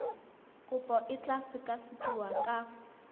kopo e tla sekasekiwa ka